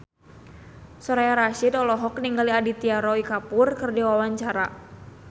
Soraya Rasyid olohok ningali Aditya Roy Kapoor keur diwawancara